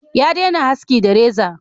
Ya dena haski da reza